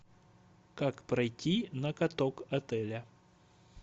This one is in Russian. как пройти на каток отеля